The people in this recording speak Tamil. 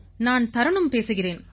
நான் தரன்னும் பேசுகிறேன்